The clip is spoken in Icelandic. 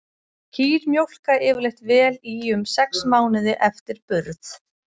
Kýr mjólka yfirleitt vel í um sex mánuði eftir burð.